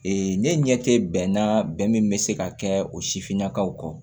ne ɲɛ tɛ bɛn na bɛn min bɛ se ka kɛ o sifinnakaw kɔ